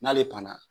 N'ale panna